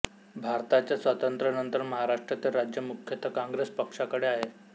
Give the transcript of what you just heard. भारताच्या स्वातंत्र्यानंतर महाराष्ट्रातील राज्य मुख्यत कॉॅंग्रेस पक्षाकडे आहे